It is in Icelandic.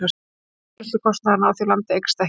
En framleiðslukostnaðurinn á því landi eykst ekki.